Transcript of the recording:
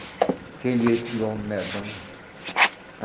Aquele jeito de homem medonho.